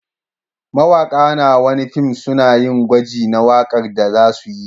Mawaƙa na wani fim suna yin gwaji na waƙar da za su yi.